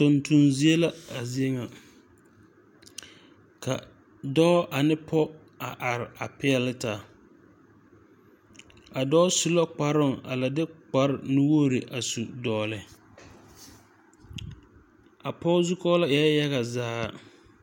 Tonton zie la a zie ŋa ka dɔɔ ane pɔɔ a are a peɛle taa a dɔɔ su la kparoŋ a la de kpare nuwogre a su dɔgle a pɔge zukɔɔlɔ eɛɛ yaga zaa.